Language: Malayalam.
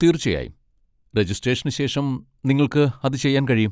തീർച്ചയായും, രജിസ്ട്രേഷന് ശേഷം നിങ്ങൾക്ക് അത് ചെയ്യാൻ കഴിയും.